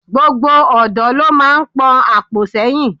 Gbogbo ọ̀dọ́ lo máa ń pon àpò sẹ́yìn.